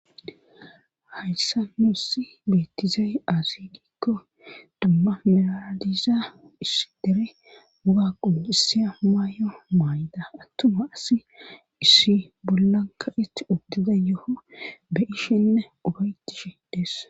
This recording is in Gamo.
Hayssa muussi bettizay azidikko dumma miladiza iss dere buga qonisiya maay7o maayda attuma asi issi bollanka itti uttiza yoho be ishenne ubaytishe dees